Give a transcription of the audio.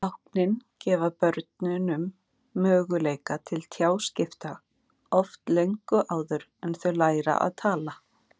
Táknin gefa börnunum möguleika til tjáskipta, oft löngu áður en þau læra að tala.